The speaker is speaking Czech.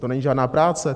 To není žádná práce?